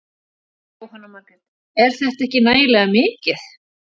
Jóhanna Margrét: Er þetta ekki nægilega mikið?